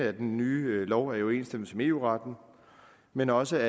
at loven i overensstemmelse med eu retten men også